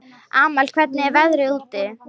Amal, hvernig er veðrið úti?